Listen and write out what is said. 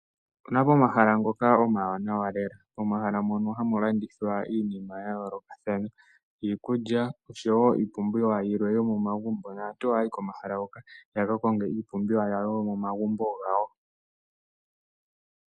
Opuna pomahala ngoka omawanawa lela, mono hamu landithwa iinima ya yoolokathana iikulya osho wo iipumbiwa yimwe yomomagumbo. Aantu oha yayi komahala hoka, yaka konge iipumbiwa yawo yomomagumbo gawo.